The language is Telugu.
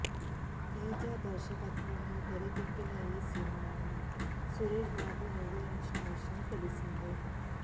తేజ దర్శకత్వంలో తెరకెక్కిన ఈ సినిమాను సురేష్బాబు నిర్మించిన విషయం తెల్సిందే